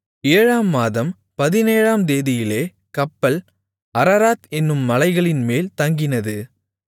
ஏழாம் மாதம் பதினேழாம் தேதியிலே கப்பல் அரராத் என்னும் மலைகளின்மேல் தங்கினது